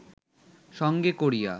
সঙ্গে করিয়া